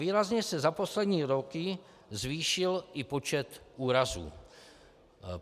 Výrazně se za poslední roky zvýšil i počet úrazů.